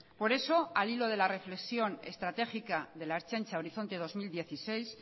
por eso al hilo de la reflexión estratégica de la ertzaintza horizonte dos mil dieciséis